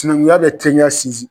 Sinankunya bɛ teriya sinsin.